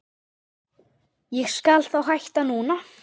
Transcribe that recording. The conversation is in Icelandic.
Ég skal þá hætta núna.